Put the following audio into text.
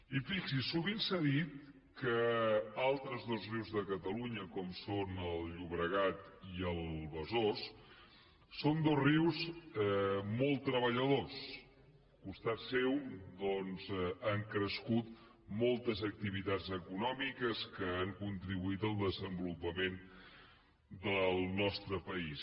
i fixi’s sovint s’ha dit que altres dos rius de catalunya com són el llobregat i el besòs són dos rius molt treballadors al costat seu doncs han crescut moltes activitats econòmiques que han contribuït al desenvolupament del nostre país